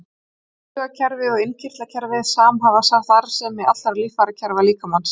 Taugakerfið og innkirtlakerfið samhæfa starfsemi allra líffærakerfa líkamans.